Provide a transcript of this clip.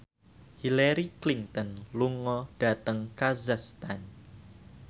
Hillary Clinton lunga dhateng kazakhstan